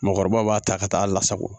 Mɔgɔkɔrɔbaw b'a ta ka taa hali lasago